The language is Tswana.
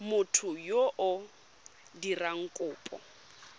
motho yo o dirang kopo